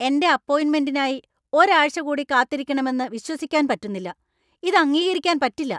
എന്‍റെ അപ്പോയിൻമെന്‍റിനായി ഒരാഴ്ച കൂടി കാത്തിരിക്കണമെന്നു വിശ്വസിക്കാൻ പറ്റുന്നില്ല. ഇത് അംഗീക്കരിക്കാൻ പറ്റില്ല .